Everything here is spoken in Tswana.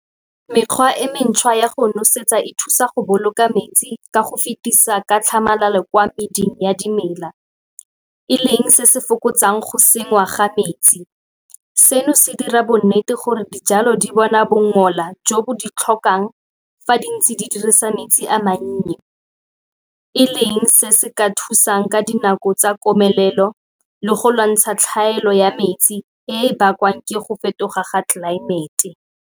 Mekgwa e mentšha ya go nosetsa e thusa go boloka metsi ka go fetisa ka tlhamalalo kwa meding ya dimela, e leng se se fokotsang go senngwa ga metsi. Seno se dira bonnete gore dijalo di bona bongola jo bo di tlhokang fa di ntse di dirisa metsi a mannye e leng se se ka thusang ka dinako tsa komelelo le go lwantsha tlhaelo ya metsi e e bakwang ke go fetoga ga tlelaemete.